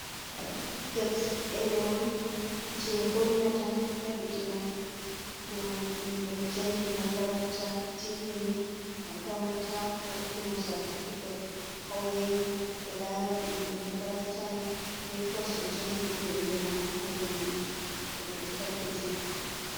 Satificet derewol je hollata tabbitina dow bingel jangi makaranta timmini makaranta hokkimo satifiket. Hao yahi fu be laran inde makaranta mai be kos o jangi be inde mako haa dau majum heaba be tabbitina.